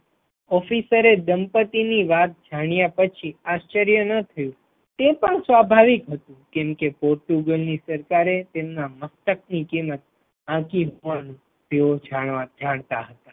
officer દંપતિની વાત જાણ્યા પછી આશ્ચર્ય ન થયું, તે પણ સ્વાભાવિક હતું, કેમ કે પોર્ટુગલ ની સરકારે તેમના મસ્તક ની કિમત આકી પણ તેઓ જાણતા હતા.